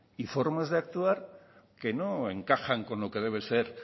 y formas de actuar que no encajan con lo que debe ser